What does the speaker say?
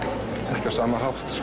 ekki á sama hátt